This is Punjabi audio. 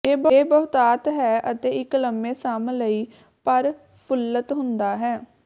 ਇਹ ਬਹੁਤਾਤ ਹੈ ਅਤੇ ਇੱਕ ਲੰਬੇ ਸਮ ਲਈ ਪਰਫੁੱਲਤ ਹੁੰਦਾ ਹੈ